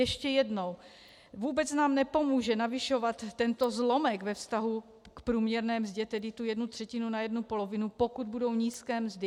Ještě jednou: Vůbec nám nepomůže navyšovat tento zlomek ve vztahu k průměrné mzdě, tedy tu jednu třetinu na jednu polovinu, pokud budou nízké mzdy.